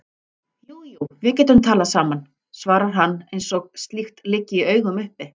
Jú jú, við getum talað saman, svarar hann eins og slíkt liggi í augum uppi.